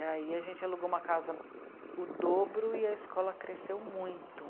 E aí a gente alugou uma casa o dobro e a escola cresceu muito.